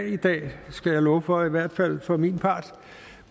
i dag skal jeg love for i hvert fald for min part